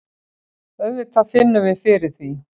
Auðvitað finnum við fyrir því.